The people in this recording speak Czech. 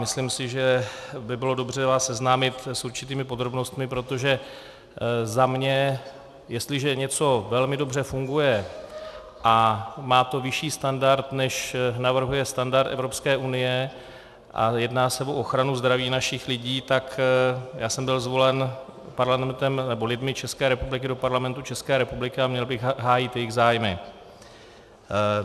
Myslím si, že by bylo dobře vás seznámit s určitými podrobnostmi, protože za mě, jestliže něco velmi dobře funguje a má to vyšší standard, než navrhuje standard Evropské unie, a jedná se o ochranu zdraví našich lidí, tak já jsem byl zvolen lidmi České republiky do Parlamentu České republiky a měl bych hájit jejich zájmy.